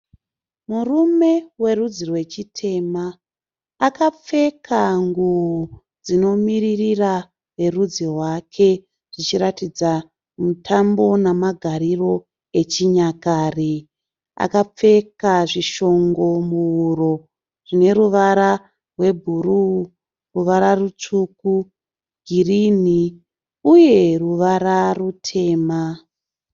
Murume werudzi rwechitema. Akapfeka nguo dzimomiririra verudzi rwake zvichiratidza mutambo namagariro echinyakare. Akapfeka zvishongo muhuro zvine ruvara rwebhuruu, ruvara rutsvuku, girini uye ruvara rutema.